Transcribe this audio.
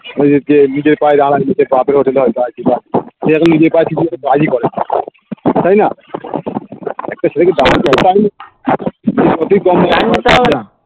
ওই যে কে নিজের পায়ে দাঁড়ায়নি সে বাপের hotel এ হয়তো আছে বা সে এখন নিজের পায়ে কিছু একটা কাজ ই করেনা তাইনা একটা ছেলেকে